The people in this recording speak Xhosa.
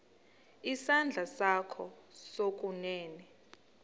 isandla sakho sokunene